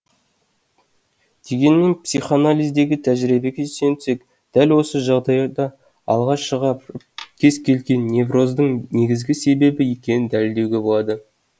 дегенмен психоанализдегі тәжірибеге сүйенсек дәл осы жағдайды алға шығарып кез келген невроздың негізгі себебі екенін дәлелдеуге болады